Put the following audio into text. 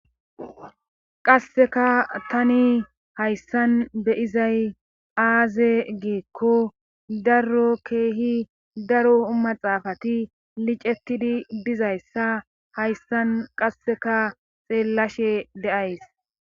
qasseka tani hayssan beyizay aaze giekko darro keehi daro u maxaafati licetidi bizayssa hayssan qasseka xeellashe de'ays